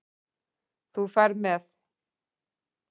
Þú ferð með